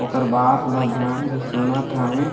ओकर बात ल ध्यान से सुनत हावे।